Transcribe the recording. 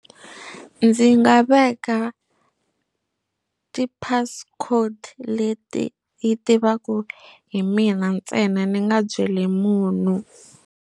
Ndzi nga veka ti passcode leti yi tivaka hi mina ntsena ni nga byeli munhu.